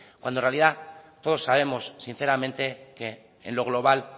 cuando en realidad todos sabemos sinceramente que en lo global